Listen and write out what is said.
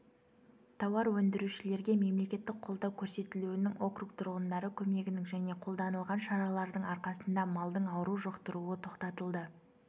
тауар өндірушілерге мемлекеттік қолдау көрсетілуінің округ тұрғындары көмегінің және қолданылған шаралардың арқасында малдың ауру жұқтыруы тоқтатылды